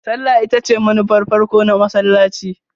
Sallah ita ce manufar farko na masallaci.